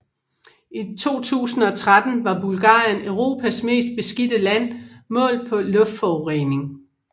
I 2013 var Bulgarien Europas mest beskidte land målt på luftforurening